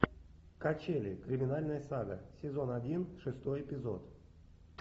качели криминальная сага сезон один шестой эпизод